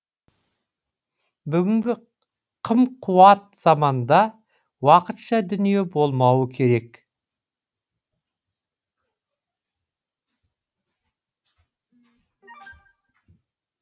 бүгінгі қым қуат заманда уақытша дүние болмауы керек